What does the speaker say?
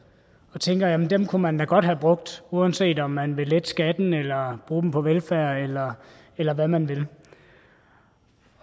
og tænker at dem kunne man da godt have brugt uanset om man vil lette skatten eller bruge dem på velfærd eller eller hvad man vil